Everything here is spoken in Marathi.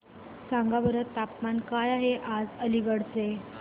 सांगा बरं तापमान काय आहे आज अलिगढ चे